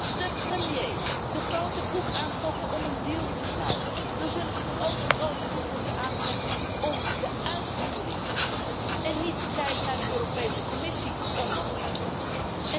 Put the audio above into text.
Als de premiers de grote broek aantrokken om een deal te sluiten, dan zullen ze toch ook de grote broek moeten aantrekken om de uitvoering te regelen en niet te kijken naar de Europese Commissie om dat uit te voeren.